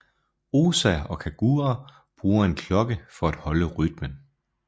Osa og Kagura bruger en klokke for at holde rytmen